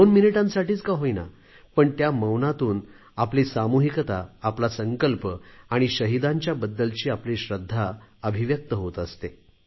2 मिनिटांसाठीच का होईना पण त्या मौनातून आपली सामूहिकता आपला संकल्प आणि शहीदांच्या बद्दलची आपली श्रद्धा अभिव्यक्त होत असते